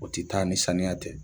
O te taa ni saniya tɛ